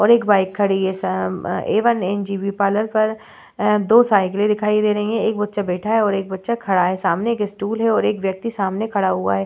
और एक बाइक खड़ी है आ साम ए वन एन.जे.बी. पार्लर पर ए दो साइकिले दिखाई दे रही है एक बच्चा बैठा है और एक बच्चा खड़ा है सामने एक स्टूल है और एक व्यक्ति सामने खड़ा हुआ है।